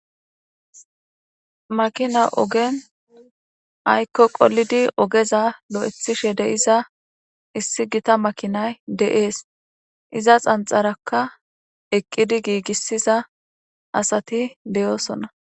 Makina ogen aykko qolidi ogeza lo7athishe de7iza issigita makinay de7ees.iza xanxarakka eqqidi giigissiza asati de7oosona.